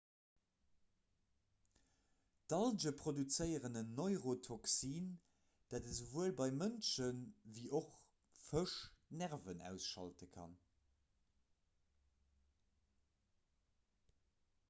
d'alge produzéieren en neurotoxin dat esouwuel bei mënschen ewéi och fësch d'nerven ausschalte kann